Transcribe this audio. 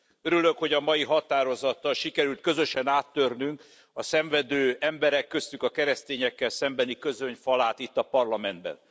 Örülök, hogy a mai határozattal sikerült közösen áttörnünk a szenvedő emberekkel, köztük a keresztényekkel szembeni közöny falát itt, a Parlamentben.